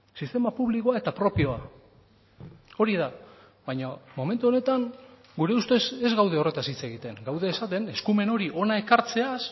sistema publikoa eta propioa hori da baina momentu honetan gure ustez ez gaude horretaz hitz egiten gaude esaten eskumen hori hona ekartzeaz